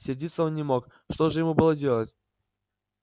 сердиться он не мог что же ему было делать